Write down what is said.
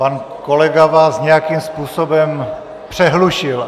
Pan kolega vás nějakým způsobem přehlušil.